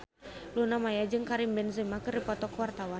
Luna Maya jeung Karim Benzema keur dipoto ku wartawan